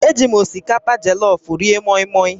Eji m osikapa jọlọfụ rie mọịmọị